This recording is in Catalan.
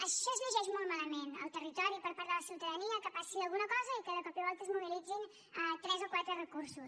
això és llegeix molt malament el territori per part de la ciutadania que passi alguna cosa i que de cop i volta es mobilitzin tres o quatre recursos